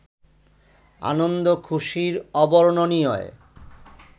আনন্দ-খুশির অবর্ণনীয়